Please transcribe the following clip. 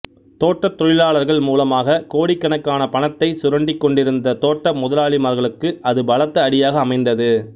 தோட்டத் தொழிலாளர்கள் மூலமாகக் கோடிக்கணக்கான பணத்தைச் சுரண்டிக் கொண்டிருந்த தோட்ட முதலாளிமார்களுக்கு அது பலத்த அடியாக அமைந்தது